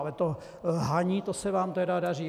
Ale to lhaní, to se vám tedy daří.